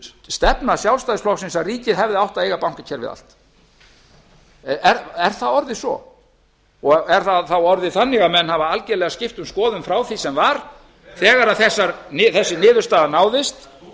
stefna sjálfstæðisflokksins að ríkið hefði átt að eiga bankakerfið allt enda er það orðið svo er það þá orðið þannig að menn hafi algerlega skipt um skoðun frá því sem var þegar þessi niðurstaða náðist